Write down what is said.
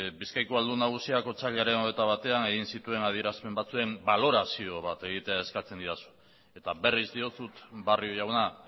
bizkaiko aldun nagusiak otsailaren hogeita batean egin zituen adierazpen batzuen balorazioa egitea eskatzen didazu eta berriz diotsut barrio jauna